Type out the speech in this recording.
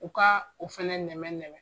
U ka o fɛnɛ nɛmɛn nɛmɛn.